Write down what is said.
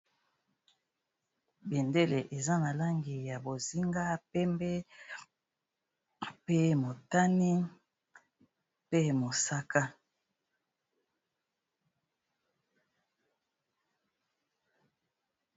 Bendele eza na langi ya bozinga, pembe, pe motane mpe mosaka.